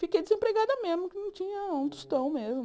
Fiquei desempregada mesmo, porque não tinha um tostão mesmo.